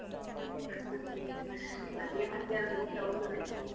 ನನ್ಗೆ ಮಧ್ಯಾಹ್ನದು ಊಟ ಒಂದು ಗಂಟೆಗೆ.